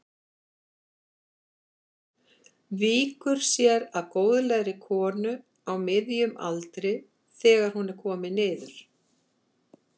Víkur sér að góðlegri konu á miðjum aldri þegar hún er komin niður.